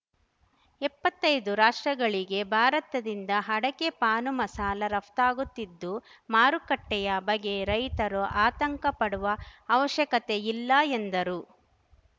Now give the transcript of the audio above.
ಎಪ್ಪತ್ತೈದು ರಾಷ್ಟ್ರಗಳಿಗೆ ಭಾರತದಿಂದ ಅಡಕೆ ಪಾನ್‌ಮಸಾಲ ರಫ್ತಾಗುತ್ತಿದ್ದು ಮಾರುಕಟ್ಟೆಯ ಬಗೆ ರೈತರು ಆತಂಕ ಪಡುವ ಅವಶ್ಯಕತೆ ಇಲ್ಲ ಎಂದರು